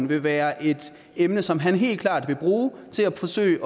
vil være et emne som han helt klart vil bruge til at forsøge